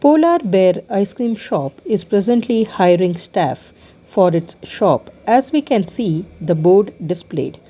polar bear icecream shop is presently hiring staff for its shop as we can see the board displayed.